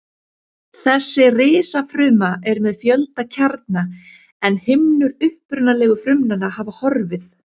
Þessi risafruma er með fjölda kjarna en himnur upprunalegu frumnanna hafa horfið.